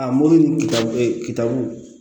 A mori kita e kitabu